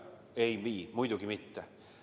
Ei vii, muidugi mitte!